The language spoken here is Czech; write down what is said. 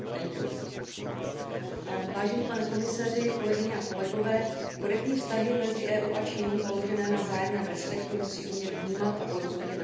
Vážený pane komisaři, kolegyně a kolegové, korektní vztahy mezi EU a Čínou založené na vzájemném respektu musí umět vnímat a porozumět rozdílnosti obou našich kultur.